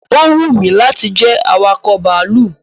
Ó wù mí láti jẹ́ awakọ̀ bàálù